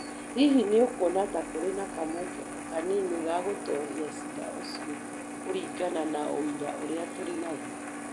Hihi nĩ ũkuona ta kũrĩ na kamweke o na kanini ga gũtooria ciira ũcio kũringana na ũira ũrĩa tũrĩ naguo?